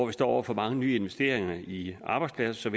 vi står over for mange nye investeringer i arbejdspladser